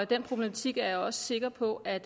den problematik er jeg også sikker på at